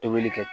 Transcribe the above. Tobili kɛ